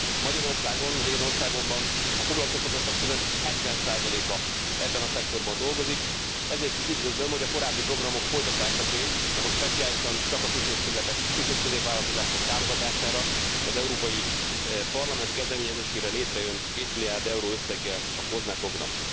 Magyarországon, az én országomban a foglalkoztatottak közel 70 a ebben a szektorban dolgozik, ezért is üdvözlöm, hogy a korábbi programok folytatásaként, de most speciálisan csak a kis és középvállalkozások támogatására, az Európai Parlament kezdeményezésére létrejön kétmilliárd euró összeggel a COSME program.